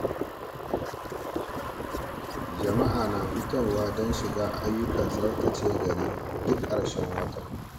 Jama’a na fitowa don shiga ayyukan tsaftace gari duk karshen wata.